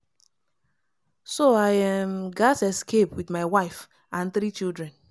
“as i see say say notin i fit do